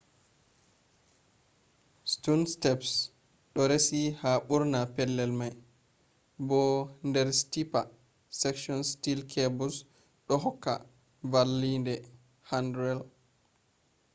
stone steps ɗo resi ha ɓurna pellel mai bo der steeper sections steel cables ɗo hokka vallende handrail